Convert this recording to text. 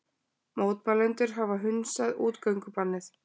Mótmælendur hafa hunsað útgöngubannið